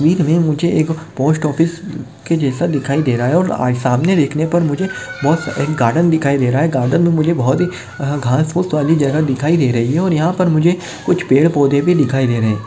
एक मे मुझे एक पोस्ट ऑफिस के जैसा दिखाई दे रहा है और आ सामने देखने पर मुझे बहोत एक गार्डन दिखाई दे रहा है गार्डन मे मुझे बहोत ही अ घास पूस वाली जगह दिखाई दे रही है और यहा पर मुझे कुछ पेड़ पौधे भी दिखाई दे रहे है।